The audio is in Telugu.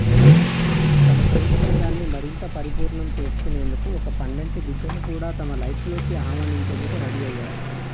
తమ ప్రేమ బంధాన్ని మరింత పరిపూర్ణం చేసుకునేందుకు ఒక పండంటి బిడ్డను కూడా తమ లైఫ్లోకి ఆహ్వానించేందుకు రడీ అయ్యారు